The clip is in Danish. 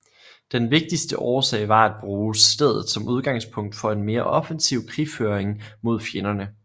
Den vigtigste årsag var at bruge stedet som udgangspunkt for en mere offensiv krigføring mod fjenderne